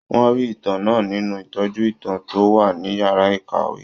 Wọ́n rí ìtàn náà nínú ìtọ́jú ìtàn tó wà ní yàrá ìkàwé